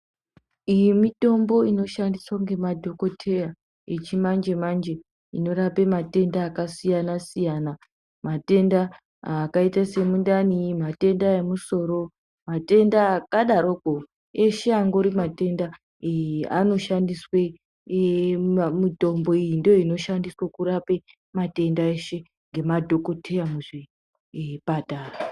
Iyi mitombo inoshandiswe nemadhokodheya yechimanje manje inorape matenda akasiyana-siyana, matenda akaite semundane emusoro, matenda akadaropo eshanguri matenda anoshandiswe mitombo, iyoyo ndiyo inoshandiswe ngemadhokodheya muzvipatara.